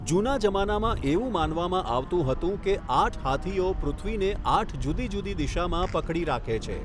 જૂના જમાનામાં એવું માનવામાં આવતું હતું કે આઠ હાથીઓ પૃથ્વીને આઠ જુદી જુદી દિશામાં પકડી રાખે છે.